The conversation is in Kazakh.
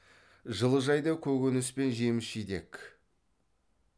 жылыжайда көкөніс пен жеміс жидек